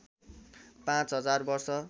पाँच हजार वर्ष